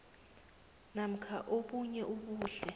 namkha obunye ubuhle